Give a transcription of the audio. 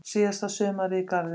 Síðasta sumarið í garðinum.